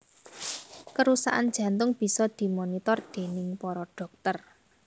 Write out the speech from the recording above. Kerusakan jantung bisa dimonitor déning para dhokter